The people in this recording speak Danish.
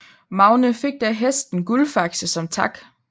Magne fik da hesten Guldfakse som tak